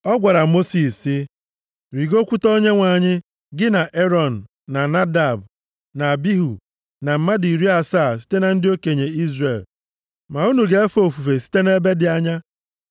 Ọ gwara Mosis sị, “Rigokwute Onyenwe anyị, gị na Erọn, na Nadab, na Abihu, na mmadụ iri asaa site na ndị okenye Izrel. Ma unu ga-efe ofufe site nʼebe dị anya.